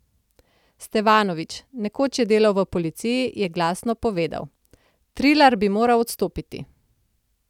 Stevanović, nekoč je delal v policiji, je takrat glasno povedal: 'Trilar bi moral odstopiti.